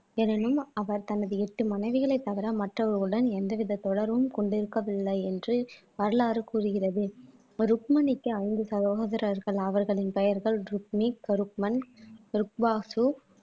எனினும் அவர் தனது எட்டு மனைவிகளைத் தவிர மற்றவர்களுடன் எந்தவித தொடர்பும் கொண்டிருக்கவில்லை என்று வரலாறு கூறுகிறது ருக்மணிக்கு ஐந்து சகோதரர்கள் அவர்களின் பெயர்கள் ருக்ணி ருக்பாசு